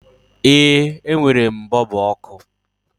Ee, e nwèrè m bọọlbụ ọkụ